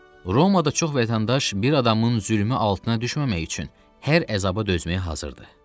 Romada çox vətəndaş bir adamın zülmü altına düşməmək üçün hər əzaba dözməyə hazırdır.